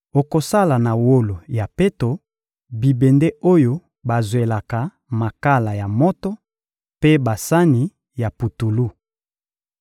Okosala na wolo ya peto bibende oyo bazwelaka makala ya moto mpe basani ya putulu.